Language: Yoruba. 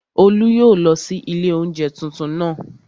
Olú yóò lọ sí ilé oúnjẹ tuntun naa